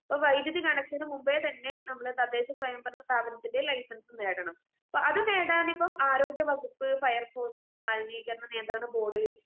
ഇപ്പൊ വൈദ്യുതി കണക്ഷന് മുൻപേ തന്നെ നമ്മള് തദ്ദേശസ്വയംഭരണ സ്ഥാപനത്തിലെ ലൈസൻസ് നേടണം. അപ്പൊ അത്ആരോഗ്യവകുപ്പ്, ഫയർ ഫോഴ്‌സ്, മലിനീകരണനിയന്ത്രണ ബോർഡ്